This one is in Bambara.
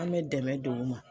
An' bɛ dɛmɛ duguma